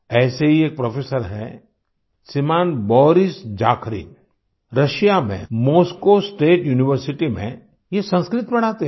ऐसे ही एक प्रोफेसर है श्रीमान बोरिस जाखरिन रुसिया में मोस्को स्टेट यूनिवर्सिटी में ये संस्कृत पढ़ाते हैं